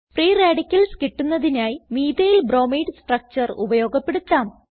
free radicals കിട്ടുന്നതിനായി methyl bromide structure ഉപയോഗപ്പെടുത്താം